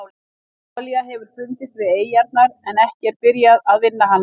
Olía hefur fundist við eyjarnar en ekki er byrjað vinna hana.